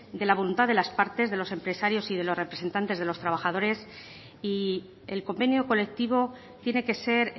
de la voluntad de las partes de los empresarios y de los representantes de los trabajadores y el convenio colectivo tiene que ser